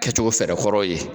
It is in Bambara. Kɛcogo fɛɛrɛ kɔrɔ ye.